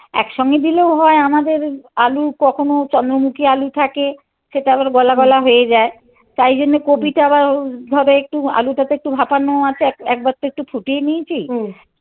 একসঙ্গে দিলেও হয় আমাদের আলু কখনো চন্দ্রমুখী আলু থাকে. সেটা আবার গলাগলা হয়ে যায়. তাই জন্য কপি টা আবার ধরো একটু আলুটা তো একটু ভাপানোও আছে. একবার তো একটু ফুটিয়ে নিয়েছি. হুম.